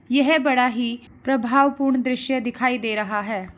यह बड़ा ही प्रभाव पूर्ण दृश्य दिखाई दे रहा है।